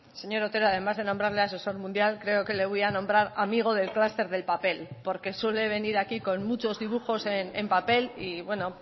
señor otero además de nombrarle asesor mundial creo que le voy a nombrar amigo del clúster del papel porque suele venir aquí con muchos dibujos en papel y bueno